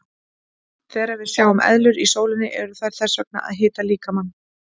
Þegar við sjáum eðlur í sólinni eru þær þess vegna að hita líkamann.